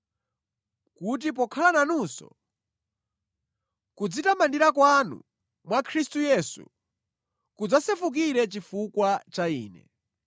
kuti pokhala nanunso, kudzitamandira kwanu mwa Khristu Yesu kudzasefukire chifukwa cha ine.